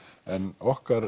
en okkar